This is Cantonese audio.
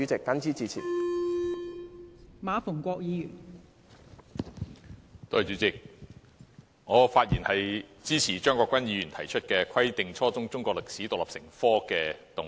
代理主席，我發言支持張國鈞議員提出"規定初中中國歷史獨立成科"的議案。